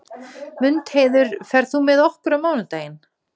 Mundheiður, ferð þú með okkur á mánudaginn?